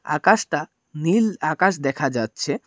আকাশটা নীল আকাশ দেখা যাচ্ছে।